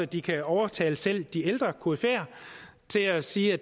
de kan overtale selv de ældre koryfæer til at sige at